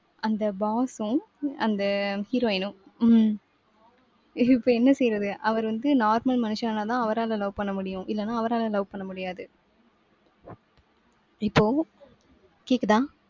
அந்த boss உம் அந்த heroine உம் உம் இப்ப என்ன செய்றது? அவர் வந்து normal மனுஷனானாதான் அவரால love பண்ண முடியும். இல்லனா அவரால love பண்ண முடியாது. இப்போ கேக்குதா?